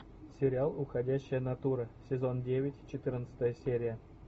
сериал уходящая натура сезон девять четырнадцатая серия